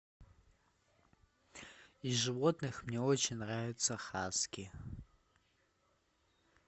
из животных мне очень нравится хаски